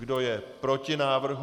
Kdo je proti návrhu?